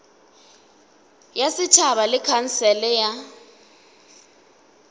ya setšhaba le khansele ya